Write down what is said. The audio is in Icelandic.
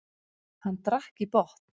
Hann drakk í botn.